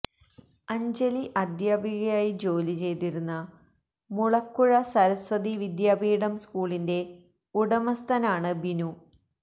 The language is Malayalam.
അഞ്ജലി അധ്യാപികയായി ജോലിചെയ്തിരുന്ന മുളക്കുഴ സരസ്വതി വിദ്യാപീഠം സ്കൂളിന്റെ ഉടമസ്ഥനാണ് ബിനു